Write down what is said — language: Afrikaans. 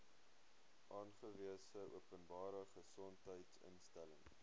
aangewese openbare gesondheidsinstelling